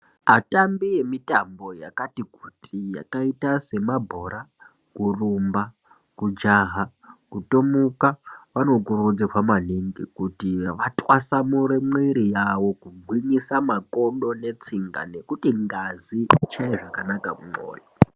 Atambi emitambo yakati kuti, yakaita semabhora , kurumba, kujaha, kutomuka anokuridzirwa maningi kuti vatwasamure mwiri yawo kugwinyisa makodo netsinga nekuti ngazi isvike zvakanaka kumwoyo.